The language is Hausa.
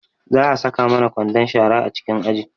Za a saka mana kwandon shara a cikin aji